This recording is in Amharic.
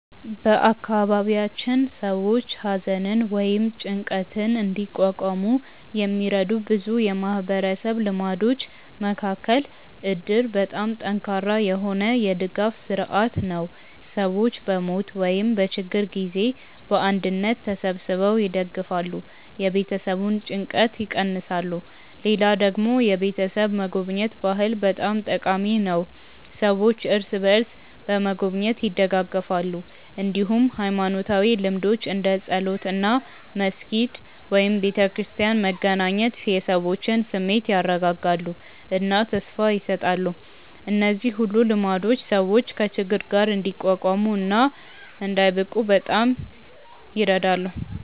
በአካባቢያችን ሰዎች ሐዘንን ወይም ጭንቀትን እንዲቋቋሙ የሚረዱ ብዙ የማህበረሰብ ልማዶች መካከል እድር በጣም ጠንካራ የሆነ የድጋፍ ስርዓት ነው፤ ሰዎች በሞት ወይም በችግር ጊዜ በአንድነት ተሰብስበው ይደግፋሉ፣ የቤተሰቡን ጭንቀት ይቀንሳሉ። ሌላ ደግሞ የቤተሰብ መጎብኘት ባህል በጣም ጠቃሚ ነው፤ ሰዎች እርስ በርስ በመጎብኘት ይደጋገፋሉ። እንዲሁም ሃይማኖታዊ ልምዶች እንደ ጸሎት እና መስጊድ/ቤተክርስቲያን መገናኘት የሰዎችን ስሜት ያረጋጋሉ እና ተስፋ ይሰጣሉ። እነዚህ ሁሉ ልማዶች ሰዎች ከችግር ጋር እንዲቋቋሙ እና እንዳይብቁ በጣም ይረዳሉ።